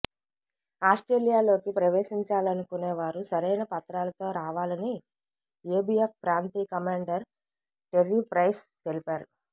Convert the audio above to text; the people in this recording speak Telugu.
ఆస్ట్రేలియాలోకి ప్రవేశించాలనుకునే వారు సరైన పత్రాలతో రావాలని ఎబిఎఫ్ ప్రాంతీయ కమాండర్ టెర్రీ ప్రైస్ తెలిపారు